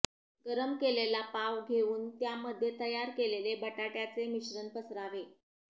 गरम केलेला पाव घेऊन त्यामध्ये तयार केलेले बटाटय़ाचे मिश्रण पसरावे